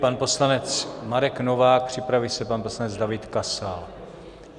Pan poslanec Marek Novák, připraví se pan poslanec David Kasal.